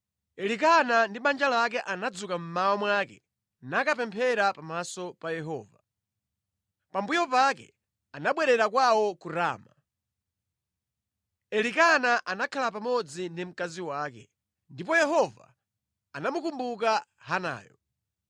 Elikana ndi banja lake anadzuka mmawa mwake nakapemphera pamaso pa Yehova. Pambuyo pake anabwerera kwawo ku Rama. Elikana anakhala pamodzi ndi mkazi wake, ndipo Yehova anamukumbuka Hanayo.